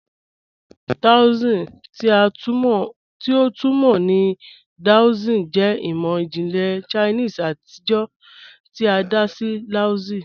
Taoism, ti a tun mọ ni Daoism, jẹ imọ-jinlẹ Chinese atijọ ti a da sí Laozi.